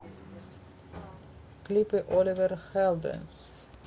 клипы оливер хэлдэнс